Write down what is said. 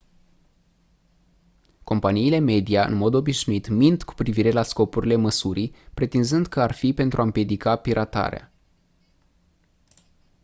companiile media în mod obișnuit mint cu privire la scopurile măsurii pretinzând că ar fi pentru a «împiedica piratarea».